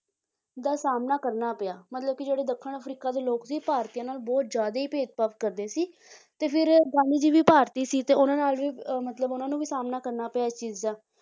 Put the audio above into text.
ਦਾ ਸਾਹਮਣਾ ਕਰਨਾ ਪਿਆ ਮਤਲਬ ਕਿ ਜਿਹੜੇ ਦੱਖਣ ਅਫ਼ਰੀਕਾ ਦੇ ਲੋਕ ਸੀ ਭਾਰਤੀਆਂ ਨਾਲ ਬਹੁਤ ਜ਼ਿਆਦਾ ਹੀ ਭੇਦਭਾਵ ਕਰਦੇ ਸੀ ਤੇ ਫਿਰ ਗਾਂਧੀ ਜੀ ਵੀ ਭਾਰਤੀ ਸੀ ਤੇ ਉਹਨਾਂ ਨਾਲ ਵੀ ਅਹ ਮਤਲਬ ਉਹਨਾਂ ਨੂੰ ਵੀ ਸਾਹਮਣਾ ਕਰਨਾ ਪਿਆ ਇਸ ਚੀਜ਼ ਦਾ